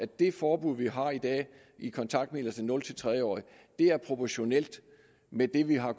det forbud vi har i dag i kontaktmidler til de nul tre årige er proportionalt med det vi har